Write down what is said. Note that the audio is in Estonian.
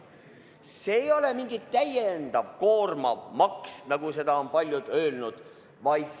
See ei ole mingi täiendav, koormav maks, nagu paljud on öelnud.